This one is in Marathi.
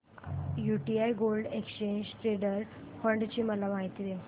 UTI gold exchange traded fund ची माहिती दे